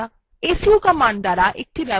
adduser command দ্বারা নতুন ব্যবহারকারী তৈরী করা